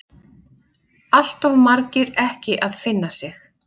Alltof margir ekki að finna sig.